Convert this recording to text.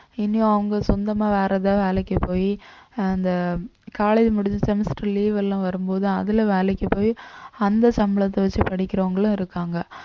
இனி அவங்க சொந்தமா வேற ஏதாவது வேலைக்கு போயி அந்த college முடிஞ்சு semester leave எல்லாம் வரும்போது அதுல வேலைக்கு போயி அந்த சம்பளத்தை வச்சு படிக்கிறவங்களும் இருக்காங்க